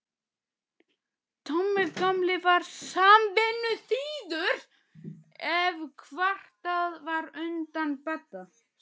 Tommi gamli var samvinnuþýður ef kvartað var undan Badda.